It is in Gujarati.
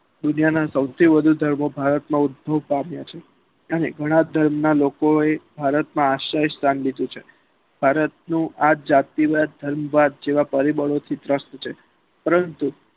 દુનિયાના સૌથી વધુ ધરાવતો દ્રીપ્કાવ્યા છે અને ઘણા ધર્મ ના લોકો એ ભારત માં આસીવત રાખ્યું છે ભારત નું આ જાતિવાદ ધર્મવાદ જેવા પરિબળોથી trust છે પરંતુ